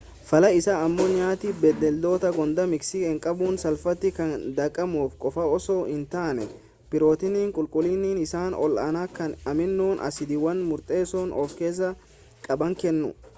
fallaa isaa ammoo nyaati bineeldotaa goondaa miixii hanqaaquu salphaati kan daakamu qofa osoo hin taane pirootiinii qulqullinni isaa ol aanaa kan amiinoo asiidiiwwan murteessoo of keessaa qaban kennu